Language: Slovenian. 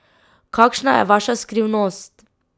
Kakšna je vaša skrivnost?